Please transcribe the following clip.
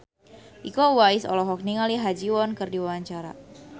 Iko Uwais olohok ningali Ha Ji Won keur diwawancara